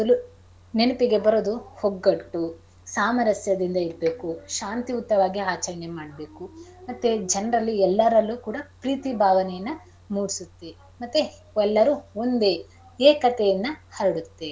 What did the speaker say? ನೆನಪಿಗೆ ಬರೋದು ಒಗ್ಗಟ್ಟು ಸಾಮರಸ್ಯದಿಂದ ಇರ್ಬೇಕು ಶಾಂತಿಯುತವಾಗಿ ಆಚರಣೆ ಮಾಡ್ಬೇಕು ಮತ್ತೆ ಜನರಲ್ಲಿ ಎಲ್ಲರಲ್ಲೂ ಕೂಡ ಪ್ರೀತಿ ಭಾವನೆಯನ್ನ ಮೂಡ್ಸತ್ತೇ. ಮತ್ತೆ ಎಲ್ಲರೂ ಒಂದೇ ಏಕತೆಯನ್ನ ಹರಡುತ್ತೆ.